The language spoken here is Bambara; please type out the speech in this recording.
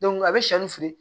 a bɛ shɛri fili